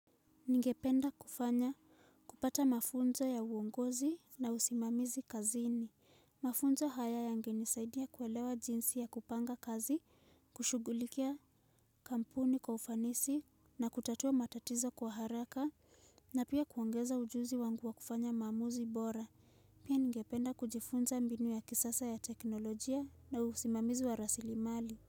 Ningependa kufanya kupata mafunzo ya uongozi na usimamizi kazini. Mafunzo haya yangeni saidia kuelewa jinsi ya kupanga kazi, kushugulikia kampuni kwa ufanisi na kutatua matatizo kwa haraka na pia kuangeza ujuzi wangu wa kufanya maamuzi bora. Pia ningependa kujifunza ambinu ya kisasa ya teknolojia na usimamizi wa rasili mali.